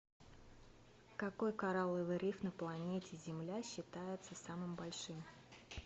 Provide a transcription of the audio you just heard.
какой коралловый риф на планете земля считается самым большим